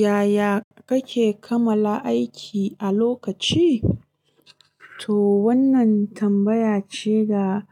Yaya kake kamala aiki a lokaci? To wannan tambaya ce da